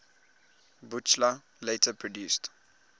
buchla later produced